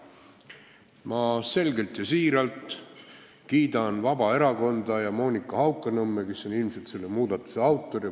Ma siiralt kiidan Vabaerakonda ja Monika Haukanõmme, kes on ilmselt selle muudatuse autor.